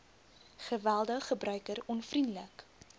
geweldig gebruiker onvriendelik